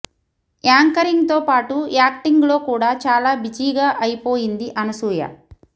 anchoring తో పాటు acting లో కూడా చాలా బిజీగా అయిపోయింది అనసూయ